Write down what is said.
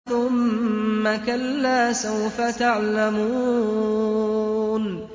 ثُمَّ كَلَّا سَوْفَ تَعْلَمُونَ